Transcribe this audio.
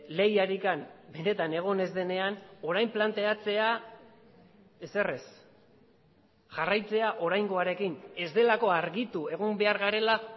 lehiarik benetan egon ez denean orain planteatzea ezer ez jarraitzea oraingoarekin ez delako argitu egon behar garela